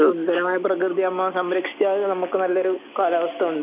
സുന്ദരമായ പ്രകൃതിയെ നമ്മെ സംരക്ഷിച്ചാലേ നമുക്കൊരു നല്ലയൊരു കാലാവസ്ഥ ഉണ്ടാകൂ